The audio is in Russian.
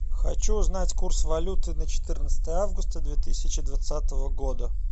хочу узнать курс валюты на четырнадцатое августа две тысячи двадцатого года